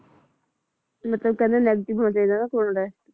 ਮਤਲਬ ਕਹਿੰਦੇ negative ਹੋ ਜਾਏਗਾ ਨਾ ਕੋਰੋਨਾ test